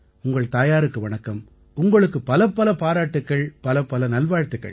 உங்கள் தாயாருக்கு வணக்கம் உங்களுக்கு பலப்பல பாராட்டுக்கள் பலப்பல நல்வாழ்த்துக்கள்